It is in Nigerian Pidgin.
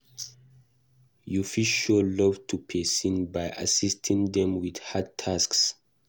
You fit show love to person by assiting them with hard tasks